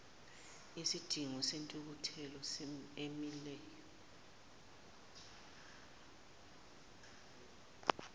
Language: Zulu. isidingo sentuthuko emileyo